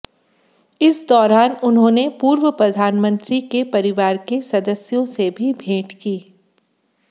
इस दौरान उन्होंने पूर्व प्रधानमंत्री के परिवार के सदस्यों से भी भेंट की